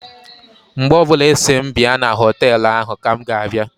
Mgbe ọbụla Ị sị m bịa na họtelụ ahụ ka m ga-abịa.